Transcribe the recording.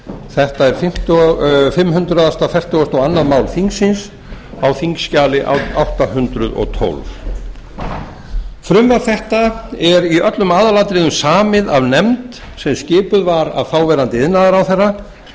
þetta er fimm hundruð fertugasta og önnur mál þingsins á þingskjali átta hundruð og tólf frumvarp þetta er í öllum aðalatriðum samið af nefnd sem skipuð var af þáv iðnaðarráðherra